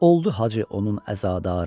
Oldu hacı onun əzadarı.